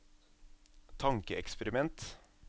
tankeeksperiment